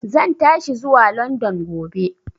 Zan tashi zuwa London gobe.